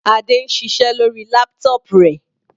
Adé ń ṣiṣẹ́ lórí laptop rẹ̀.